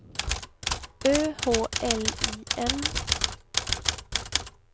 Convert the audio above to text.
Ö H L I N